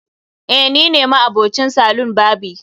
eh nine ma'abocin salon barbi